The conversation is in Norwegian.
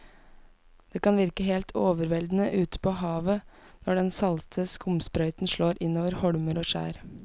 Det kan virke helt overveldende ute ved havet når den salte skumsprøyten slår innover holmer og skjær.